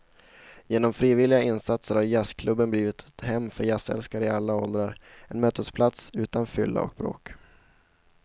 Genom frivilliga insatser har jazzklubben blivit ett hem för jazzälskare i alla åldrar, en mötesplats utan fylla och bråk.